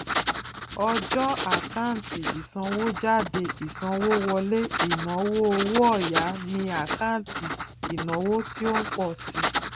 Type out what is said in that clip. ọjọ àkántì ìsanwójáde ìsanwówọlé ìnáwó owó òya ni àkáǹtì ìnáwó tí ó ń pọ si